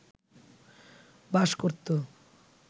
বাস করত